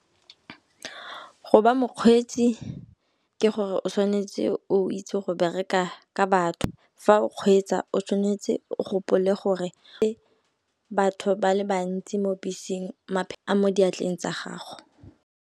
Go ba mokgweetsi ke gore o tshwanetse o itse go bereka ka batho. Fa o kgweetsa o tshwanetse o gopole gore ke batho ba le bantsi mo beseng a mo diatleng tsa gago.